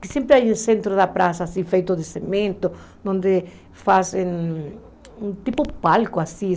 Que sempre há no centro da praça, assim, feito de cimento, onde fazem um tipo palco, assim